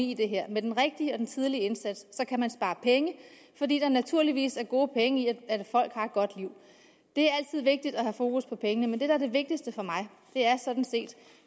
i det her med den rigtige og den tidlige indsats kan man spare penge fordi der naturligvis er gode penge i at folk har et godt liv det er altid vigtigt at have fokus på pengene men det der er det vigtigste for mig er sådan set